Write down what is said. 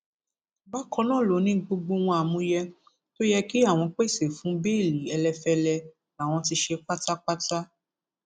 bákan náà ló ní gbogbo ohun àmúyẹ tó yẹ kí àwọn pèsè fún bẹẹlì ẹlẹfẹlẹ làwọn ti ṣe pátápátá